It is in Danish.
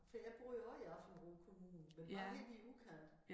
For jeg bor jo også i Aabenraa kommune men bare helt i æ udkant